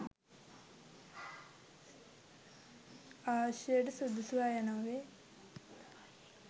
ආශ්‍රයට සුදුසු අය නොවේ